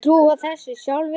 Þeir trúa þessu sjálfir